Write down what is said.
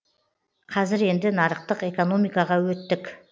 қазір енді нарықтық экономикаға өттік